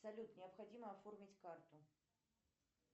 салют необходимо оформить карту